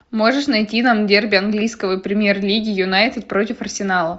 можешь найти нам дерби английской премьер лиги юнайтед против арсенала